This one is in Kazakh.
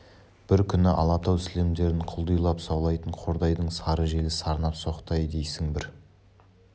бір күні алатау сілемдерін құлдилай саулайтын қордайдың сары желі сарнап соқты-ай дейсің бір